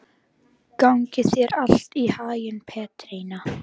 Gangi þér allt í haginn, Petrína.